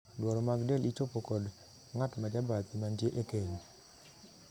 Dwaro mag del ichopo kod ng'at ma jabathi mantie e keny.